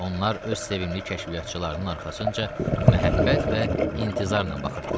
Onlar öz sevimli kəşfiyyatçılarının arxasınca məhəbbət və intizarla baxırdılar.